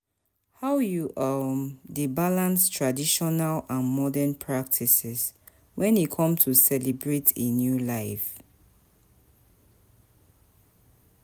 how you um dey balance traditional and modern practices when e come to celebrate a new life?